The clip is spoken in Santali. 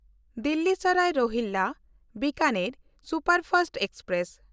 Delhi Sarai Rohilla Bikaner superfast express